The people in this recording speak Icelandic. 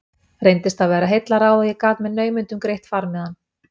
Reyndist það vera heillaráð og ég gat með naumindum greitt farmiðann.